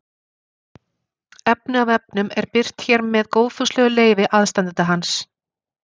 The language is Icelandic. Efni af vefnum er birt hér með góðfúslegu leyfi aðstandenda hans.